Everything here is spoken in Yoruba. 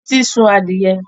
Títí sun adìẹ